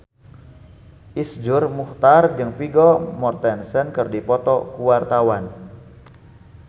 Iszur Muchtar jeung Vigo Mortensen keur dipoto ku wartawan